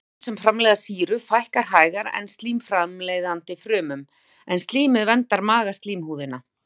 Frumum sem framleiða sýru fækkar hægar en slím-framleiðandi frumum, en slímið verndar magaslímhúðina.